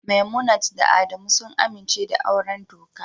Memunant da Adamu sun amince da auren doka